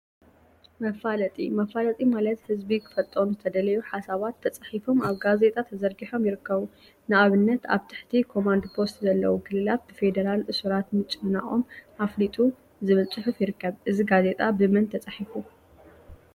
መፋለጢ መፋለጢ ማለት ህዝቢ ክፈልጦም ዝተደለዩ ሓሳባት ተፃሒፎም አብ ጋዜጣ ተዘርጊሖም ይርከቡ፡፡ ንአብነት “አብ ትሕቲ ኮማንድ ፖስት ዘለው ክልላት ብፌደራል እሱራት ምጭንናቆም አፍሊጡ” ዝብል ፅሑፍ ይርከብ፡፡ እዚ ጋዜጣ ብመን ተፃሒፉ?